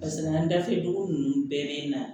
Paseke an dafɛ dugu ninnu bɛɛ bɛ na